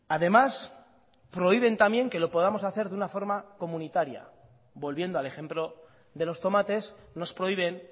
además prohíben también que lo podamos hacer de una forma comunitaria volviendo al ejemplo de los tomates nos prohíben